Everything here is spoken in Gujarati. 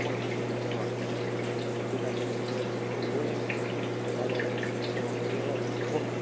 પણ એ જ આ કુસુમ બોલી કાકી એક તો જોઈએ પણ હવે તો પિતાજી જેટલું પણ કુસુમ ને ખેવના અને પિતાજીની જોડે તો બહુ બોલે નહીં પણ દાદા દાદીને જે કહેવાય એટલું કહું